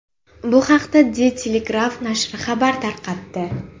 Bu haqda De Telegraaf nashri xabar tarqatdi.